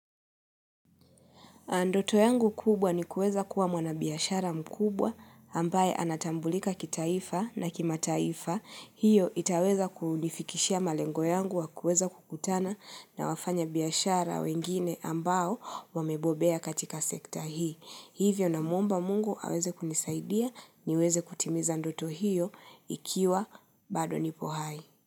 Ndoto yangu kubwa ni kueza kuwa mwana biyashara mkubwa ambaye anatambulika kitaifa na kima taifa. Hio itaweza kunifikishia malengo yangu wa kueza kukutana na wafanya biashara wengine ambao wamebobea katika sekta hii. Hivyo na mumba mungu aweze kunisaidia niweze kutimiza ndoto hiyo ikiwa bado nipo hai.